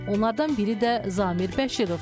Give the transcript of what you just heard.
Onlardan biri də Zamir Bəşirovdur.